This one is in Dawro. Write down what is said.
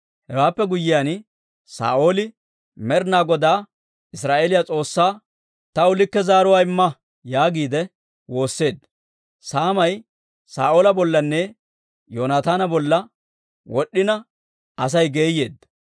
Hewaappe guyyiyaan, Saa'ooli Med'inaa Godaa Israa'eeliyaa S'oossaa, «Taw likke zaaruwaa imma» yaagiide woosseedda. Saamay Saa'oola bollanne Yoonataana bolla wod'd'ina Asay geeyeedda.